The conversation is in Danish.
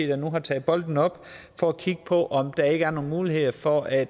der nu har taget bolden op for at kigge på om der ikke er nogle muligheder for at